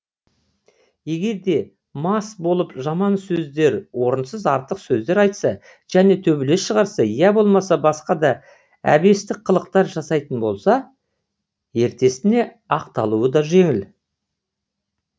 егер де мас болып жаман сөздер орынсыз артық сөздер айтса және төбелес шығарса я болмаса басқа да әбестік қылықтар жасайтын болса ертесіне ақталуы да жеңіл